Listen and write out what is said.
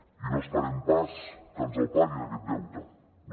i no esperem pas que ens el paguin aquest deute no